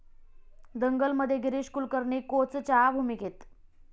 दंगल'मध्ये गिरीश कुलकर्णी कोचच्या भूमिकेत